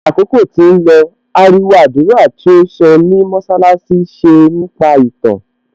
Bí àkókò tí ń lọ, ariwo àdúrà tí ó sọ ní mọṣálásí ṣe nípa ìtàn